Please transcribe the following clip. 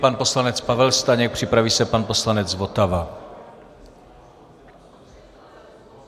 Pan poslanec Pavel Staněk, připraví se pan poslanec Votava.